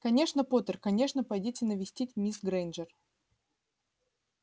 конечно поттер конечно пойдите навестить мисс грэйнджер